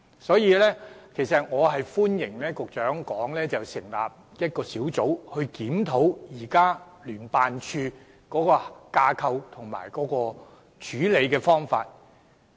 所以，我歡迎局長建議成立一個專責檢討小組，檢討聯辦處的架構和處理方法。